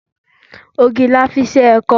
Àgbàdo la fi ṣe ẹ̀kọ.